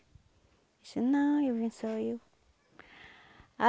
Ele disse, não, eu vim só eu.